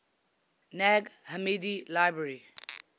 nag hammadi library